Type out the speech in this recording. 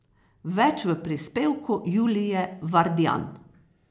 Več v prispevku Julije Vardjan.